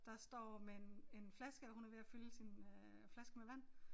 Der står med en en flaske og hun er ved at fylde sin øh flaske med vand